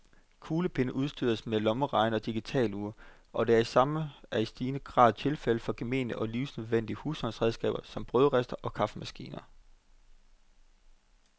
Kuglepenne udstyres med lommeregnere og digitalure, og det samme er i stigende grad tilfældet for gemene og livsnødvendige husholdningsredskaber som brødristere og kaffemaskiner.